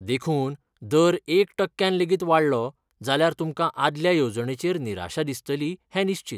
देखून, दर एक टक्क्यान लेगीत वाडलो जाल्यार तुमकां आदल्या येवजणेचेर निराशा दिसतली हें निश्चीत.